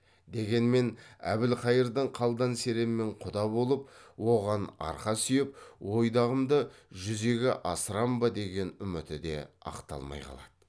дегенмен әбілқайырдың қалдан серенмен құда болып оған арқа сүйеп ойдағымды жүзеге асырам ба деген үміті де ақталмай қалады